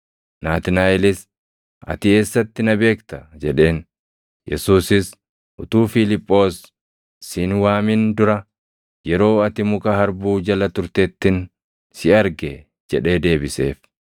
Naatnaaʼelis, “Ati eessatti na beekta?” jedheen. Yesuusis, “Utuu Fiiliphoos si hin waamin dura yeroo ati muka harbuu jala turtettin si arge” jedhee deebiseef.